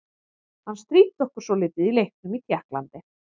Hann stríddi okkur svolítið í leiknum í Tékklandi.